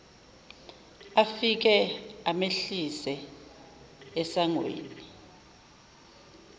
afike amehlise esangweni